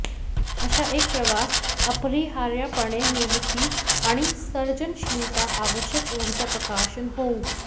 अशा एक प्रवास अपरिहार्यपणे निर्मिती आणि सर्जनशीलता आवश्यक ऊर्जा प्रकाशन होऊ